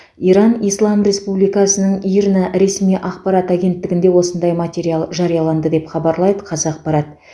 иран ислам республикасының ирна ресми ақпарат агенттігінде осындай материал жарияланды деп хабарлайды қазақпарат